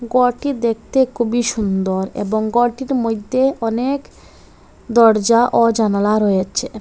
গরটি দেখতে খুবই সুন্দর এবং গরটির মইদ্যে অনেক দরজা ও জানালা রয়েছে।